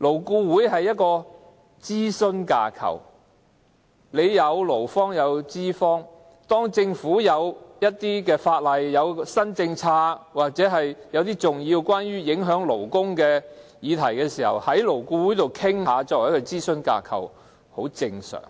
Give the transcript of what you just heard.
勞顧會是諮詢架構，有勞方和資方代表，當政府有一些法案、新政策或一些影響勞工的重要議題，勞顧會作為諮詢架構就此作出討論，很正常，也